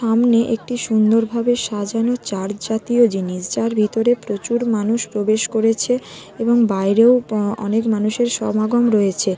সামনে একটি সুন্দরভাবে সাজানো চার্জ জাতীয় জিনিস যার ভিতরে প্রচুর মানুষ প্রবেশ করেছে এবং বাইরেও প অনেক মানুষের সমাগম রয়েছে।